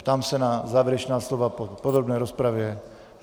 Ptám se na závěrečná slova v podrobné rozpravě?